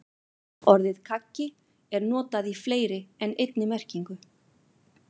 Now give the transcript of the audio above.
Orðið kaggi er notað í fleiri en einni merkingu.